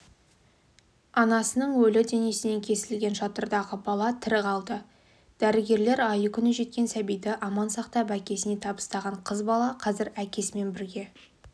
анасының өлі денесінен кесілген жатырдағы бала тірі қалды дәрігерлер айы-күні жеткен сәбиді аман сақтап әкесіне табыстаған қыз бала қазір әкесімен бірге